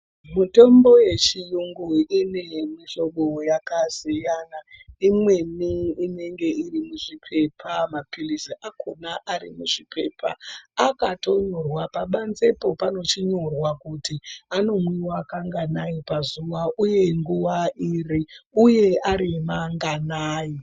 Mitombo yechiyungu ine mihlobo yakasiyana imweni inenge irimuzvipepa mapirizi akona arimuzvipepa akatonyorwa pabanzepo panochinyorwa kuti anomwiwa kanganai pazuva uye arimanganai.